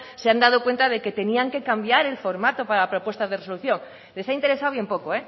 se han cuenta de que tenían que cambiar el formato para las propuestas de resolución les ha interesado bien poco